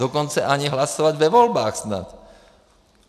Dokonce ani hlasovat ve volbách snad.